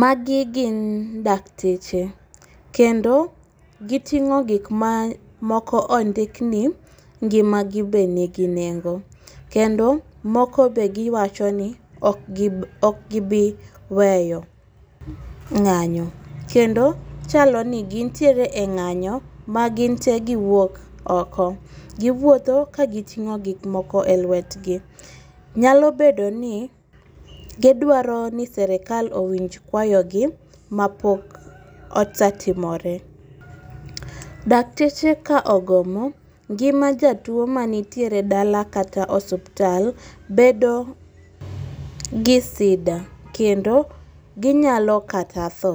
Magi gin dakteche kendo giting'o gik ma moko ondikni, ngimagi be nigi nengo kendo moko be giwacho ni ok gibiweyo ng'anyo , kendo chalo ni gintie e ng'anyo ma ginte giwuok oko, giwuotho kagiting'o gik moko e lwetgi, nyalo bedo ni gidwaro ni sirikal owinj kwayogi ma pok osetimore. Dakteche ka ogomo ng'ima jatuo manitiere dala kata osiptal bedo gi sida kendo ginyalo kata tho